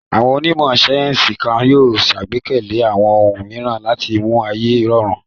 Àwọn onímọ̀ sáyẹ́ńsì kan yóò ṣàgbékalẹ̀ àwọn ohun mìíràn láti mú ayé rọrùn.